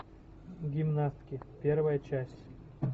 гимнастки первая часть